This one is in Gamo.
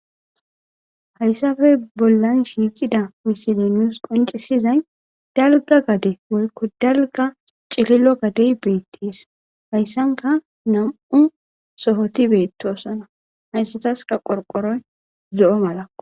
hayssafe bollan shiicida misilenus qoncisizay dalga gade woykko dalga cililo gadey beettees hayssanka nam7u sohoti beettosona hayssataska qorqoroy zo7o mala